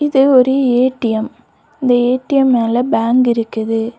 இது ஒரு ஏ_டி_எம் இந்த ஏ_டி_எம் மேல பேங்க் இருக்குது.